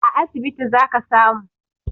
A asibiti zaka samu